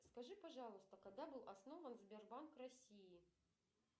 скажи пожалуйста когда был основан сбербанк россии